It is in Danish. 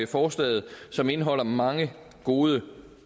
forslaget som indeholder mange gode